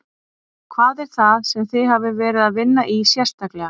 Hvað er það sem þið hafið verið að vinna í sérstaklega?